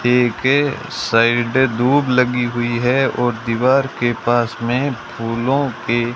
ये के साइडे दूब लगी हुई है और दीवार के पास में फूलों के --